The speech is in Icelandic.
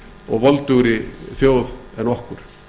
og voldugri þjóð en okkur